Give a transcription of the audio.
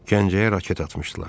Gəncəyə raket atmışdılar.